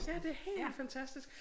Ja det helt fantastisk